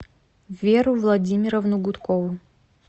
веру владимировну гудкову